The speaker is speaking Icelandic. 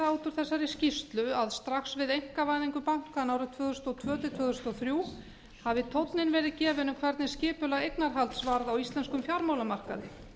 úr þessari skýrslu að strax við einkavæðingu bankanna árið tvö þúsund og tvö til tvö þúsund og þrjú hafi tónninn verið gefinn um hvernig skipulag eignarhalds varð á íslenskum fjármálamarkaði